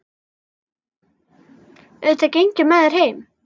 Auðvitað geng ég með þér heim